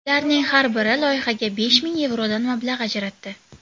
Ularning har biri loyihaga besh ming yevrodan mablag‘ ajratdi.